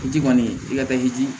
O ji kɔni i ka taa yiri di